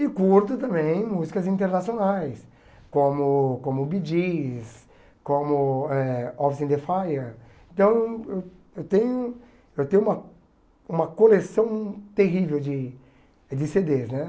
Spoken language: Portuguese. E curto também músicas internacionais, como como Bee Gees, como eh in the Fire, então eu tenho eu tenho uma uma coleção terrível de de cê dês, né?